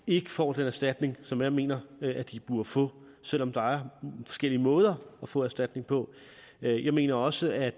ikke får den erstatning som jeg mener at de burde få selv om der er forskellige måder at få erstatning på jeg mener også at